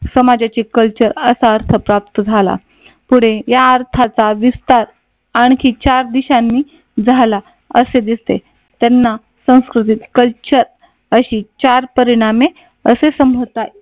समाजाचे कल्चर असा अर्थ प्राप्त झाला. पुढे या अर्थाचा विस्तार आणखी चार दिशांनी झाला असे दिसते. त्यांना संस्कृतीत कल्चर अशी चार परिणामी असे संबोधतात.